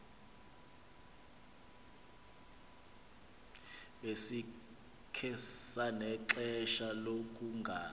besikhe sanexesha lokungazi